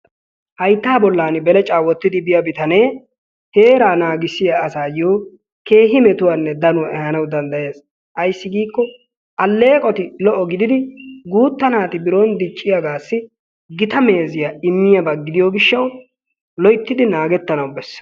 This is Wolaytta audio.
haytta bollan belecca wottidi biyaa bitanee heera naaggissiya asayyo keehi metuwanne danuwaa ehanaw danddayees. ayssi giiko alleqoti lo''o gididi guutta naati biron dicciyaagassi gitaa meeziya immiyaaba gidiyo gishshaw loyttidi naagetanaw bessees.